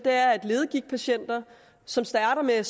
ledegigtpatienter som starter med at